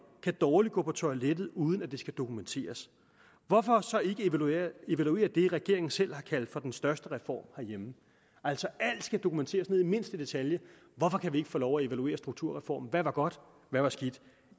kan dårligt gå på toilettet uden at det skal dokumenteres hvorfor så ikke evaluere det regeringen selv har kaldt for den største reform herhjemme altså alt skal dokumenteres ned i mindste detalje hvorfor kan vi ikke få lov at evaluere strukturreformen hvad var godt hvad var skidt